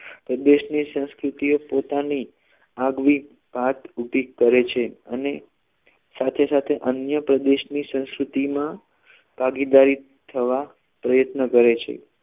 પ્રદેશ ની સંસ્કૃતિઓ પોતાની આગવી ભાત ઉભી કરે છે અને સાથે સાથે અન્ય પ્રદેશ ની સંસ્કૃતિ માં ભાગીદારી થવા પ્રયત્ન કરે છે